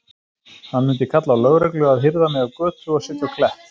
Hann mundi kalla á lögreglu að hirða mig af götu og setja á Klepp.